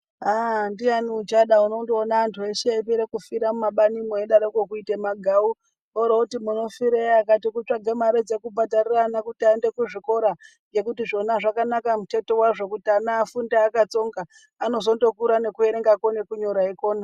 Ahh ndiani uchada unondoona antu eshe eipere kufira mumabanimwo eidaroko kuite magau orooti munofirei akati kutsvaka mare dzekubhadharira ana kuti aende kuzvikora nhekuti zvona zvakanaka muteto wazvo kuti ana afunde akatsonga, anozondokura nekuerengako nekunyora eikona.